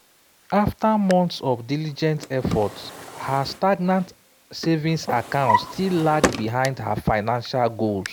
after months of diligent effort her stagnant savings account still lagged behind her financial goals.